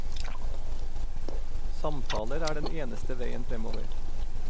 Samtaler er den eneste veien fremover.